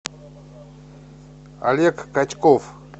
олег качков